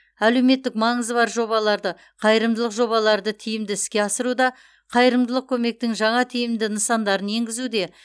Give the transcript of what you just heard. әлеуметтік маңызы бар жобаларды қайырымдылық жобаларды тиімді іске асыруда қайырымдылық көмектің жаңа тиімді нысандарын енгізуде